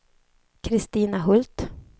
Kristina Hult